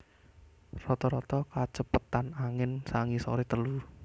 Rata rata kacepetan angin sangisoré telu